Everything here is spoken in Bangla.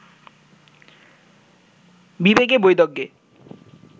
বিবেকে, বৈদজ্ঞে